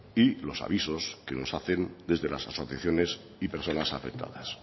y los avisos que nos hacen desde las asociaciones y personas afectadas